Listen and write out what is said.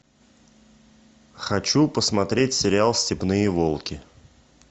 хочу посмотреть сериал степные волки